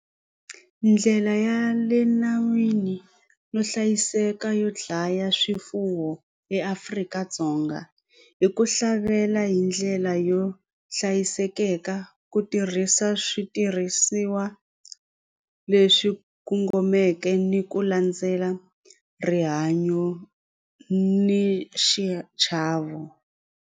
Ndlela ya le nawini no hlayiseka yo dlaya swifuwo eAfrika-Dzonga hi ku hlavelela hi ndlela yo hlayisekeka ku tirhisa switirhisiwa leswi kongomeke ni ku landzela rihanyo ni xichavo.